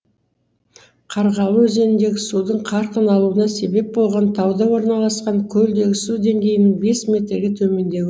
қарғалы өзеніндегі судың қарқын алуына себеп болған тауда орналасқан көлдегі су деңгейінің бес метрге төмендеуі